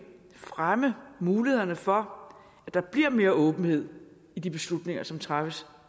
fremme mulighederne for at der bliver mere åbenhed i de beslutninger som træffes